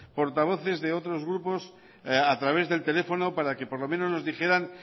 portavoces de otros grupos a través del teléfono para que por lo menos nos dijeran